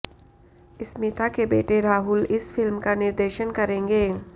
स्मिता के बेटे राहुल इस फिल्म का निर्देशन करेंगे